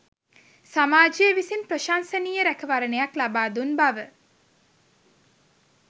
සමාජය විසින් ප්‍රශංසනීය රැකවරණයක් ලබා දුන් බව